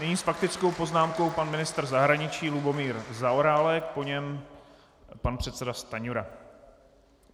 Nyní s faktickou poznámkou pan ministr zahraničí Lubomír Zaorálek, po něm pan předseda Stanjura.